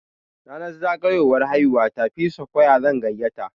Ranar zagayowar haihuwata, P-Squre zan gayyata.